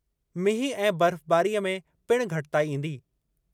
मींहुं ऐं बर्फ़बारीअ में पिणु घटिताई ईंदी।